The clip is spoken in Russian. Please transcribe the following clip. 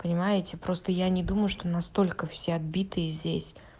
понимаете просто я не думаю что настолько все отбитые здесь